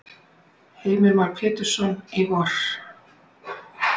Heimir Már Pétursson: Í vor?